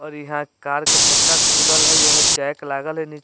और इहां कार के चक्का खुलल हई एमें जैक लागल हई नी।